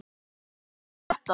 Viltu sjá þetta!